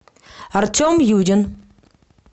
артем юрин